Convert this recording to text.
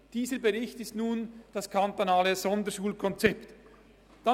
Dieser Bericht stellt nun das kantonale Sonderschulkonzept dar.